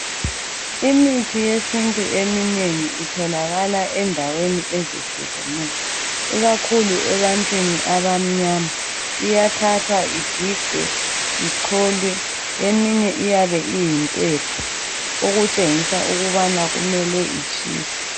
Imithi yesintu eminengi itholakala endaweni ezehlukeneyo ikakhulu ebantwini abamnyama iyathathwa igigwe , icholwe eminye iyabe iyimpepho okutshengisa ukubana kumele itshiswe.